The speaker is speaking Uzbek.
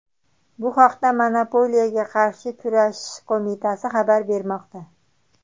Bu haqda monopoliyaga qarshi kurashish qo‘mitasi xabar bermoqda .